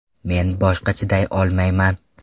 Men boshqa chiday olmayman.